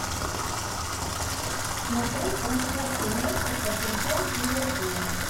смотреть трансляцию матча тоттенхэм с ливерпулем